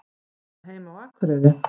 Á hann heima á Akureyri?